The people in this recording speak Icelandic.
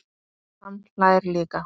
Hann hlær líka.